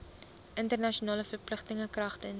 internasionale verpligtinge kragtens